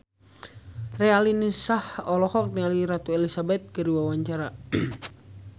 Raline Shah olohok ningali Ratu Elizabeth keur diwawancara